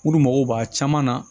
Olu mago b'a caman na